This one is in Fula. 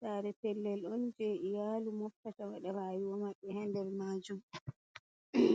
sare pellel on je iyalu moftata wada rayuwa maɓɓe ha nder majum.